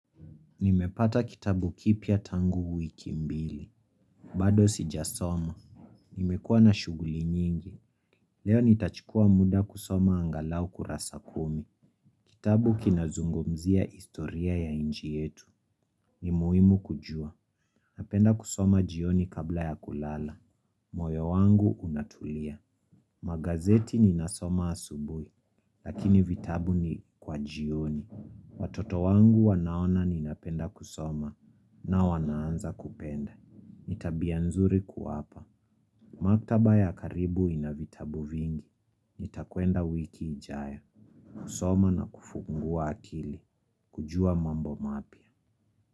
Nimepata kitabu kipia tangu wiki mbili. Bado sijasoma. Nimekuwa na shughuli nyingi. Leo nitachukua muda kusoma angalau kurasa kumi. Kitabu kinazungumzia historia ya inchi yetu. Ni muhimu kujua. Napenda kusoma jioni kabla ya kulala. Moyo wangu unatulia. Magazeti ninasoma asubui. Lakini vitabu ni kwa jioni. Watoto wangu wanaona ninapenda kusoma. Na wanaanza kupenda. Nitabia nzuri kuwapa. Maktaba ya karibu ina vitabu vingi. Nitakwenda wiki ijayo. Kusoma na kufungua akili. Kujua mambo mapya.